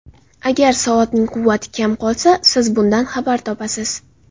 Agar soatning quvvati kam qolsa, siz bundan xabar topasiz!